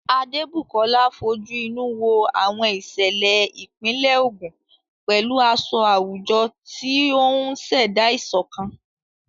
Adebukola fojú inú wo àwọn ìṣẹ̀lẹ̀ ìpínlẹ̀ Ogun pẹ̀lú aṣọ àwùjọ, tí ó ń ṣẹ̀dá ìṣọ̀kan